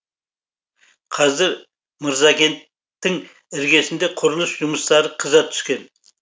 қазір мырзакенттің іргесінде құрылыс жұмыстары қыза түскен